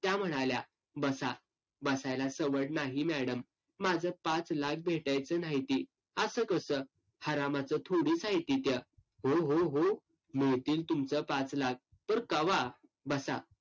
त्या म्हणाल्या, बसा. बसायला सवड नाही madam. माझं पाच लाख भेटायचं न्हाईती. असं कसं? हारामाचं थोडीच हायती त्या. हो हो हो. मिळतील तुमचं पाच लाख. पर कवा? बसा.